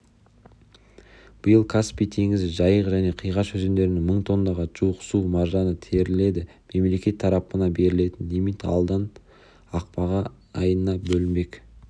биыл каспий теңізі жайық және қиғаш өзендерінен мың тоннаға жуық су маржаны теріледі мемлекет тарапынан берілетін лимит алдағы ақпан айында бөлінбек